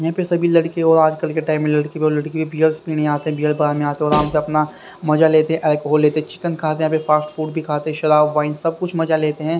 यहां पे सभी लड़के और आजकल के टाइम में लड़के और लड़की भी बीयर्स पीने आते हैं बियर बार में आते और आराम से अपना मजा लेते हैं अल्कोहल लेते हैं चिकन खाते हैं फास्ट फूड भी खाते हैं शराब वाइन सब कुछ मजा लेते हैं।